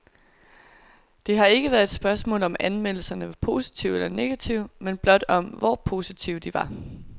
Det har ikke været et spørgsmål, om anmeldelserne var positive eller negative, men blot om hvor positive de var.